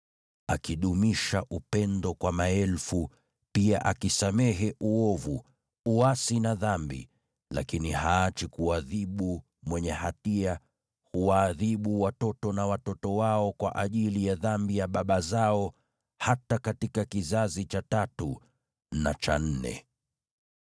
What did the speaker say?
akidumisha upendo kwa maelfu, pia akisamehe uovu, uasi na dhambi. Lakini haachi kuadhibu mwenye hatia; huwaadhibu watoto na watoto wao kwa ajili ya dhambi ya baba zao hata katika kizazi cha tatu na cha nne.”